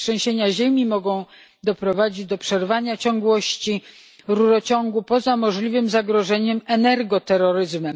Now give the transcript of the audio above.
Trzęsienia ziemi mogą doprowadzić do przerwania ciągłości rurociągu, poza możliwym zagrożeniem energo terroryzmem.